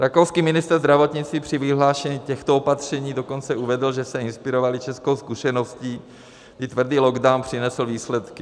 Rakouský ministr zdravotnictví při vyhlášení těchto opatření dokonce uvedl, že se inspirovali českou zkušeností, kdy tvrdý lockdown přinesl výsledky.